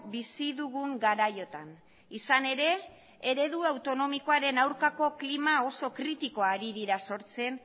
bizi dugun garaiotan izan ere eredu autonomikoaren aurkako klima oso kritikoa ari dira sortzen